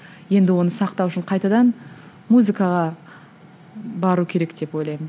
енді оны сақтау үшін қайтадан музыкаға бару керек деп ойлаймын